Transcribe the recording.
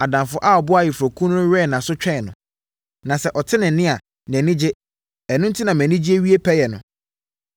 Adamfo a ɔboa ayeforɔkunu no wɛn nʼaso twɛn no, na sɛ ɔte ne nne a, nʼani gye. Ɛno enti na mʼanigyeɛ wie pɛyɛ no.